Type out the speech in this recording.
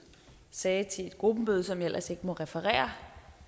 sagde til et gruppemøde som jeg ellers ikke må referere